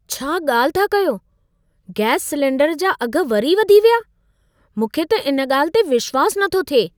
छा ॻाल्हि था कयो। गैस सिलेंडर जा अघ वरी वधी विया। मूंखे त इन ॻाल्हि ते विश्वास नथो थिए।